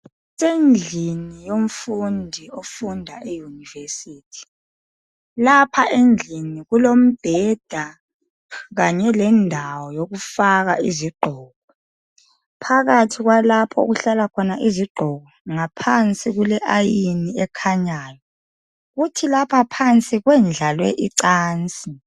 Endlini yomfundi ofunda eyunivesithi lapha endlini kulombheda kanye lendawo yokufaka izigqoko. Phakathi kwalapha okuhlala khona izigqoko ngaphansi kule ayini ekhanyayo kuthi lapha phansi kwendlalwe icansi.